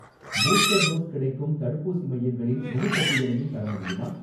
Booster dose கிடைக்கும் தடுப்பூசி மையங்களின் முழுப் பட்டியலையும் தர முடியுமா?